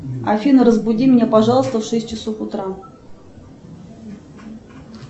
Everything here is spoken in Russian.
афина разбуди меня пожалуйста в шесть часов утра